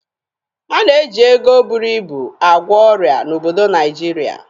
A na-eji ego búrú ịbù agwọ ọrịa n'obodo Naijiria.